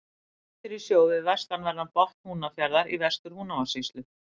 Klettur í sjó við vestanverðan botn Húnafjarðar í Vestur-Húnavatnssýslu.